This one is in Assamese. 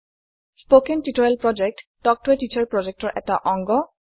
কথন শিক্ষণ প্ৰকল্প তাল্ক ত a টিচাৰ প্ৰকল্পৰ এটা অংগ